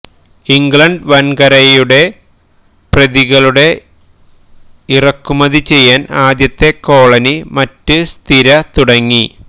England വൻകരയുടെ ന് പ്രതികളുടെ ഇറക്കുമതി ചെയ്യാൻ ആദ്യത്തെ കോളനി മറ്റ് സ്ഥിര തുടങ്ങി